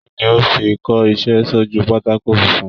Kínní o fí n kọ iṣẹ sójú pátákó funfun?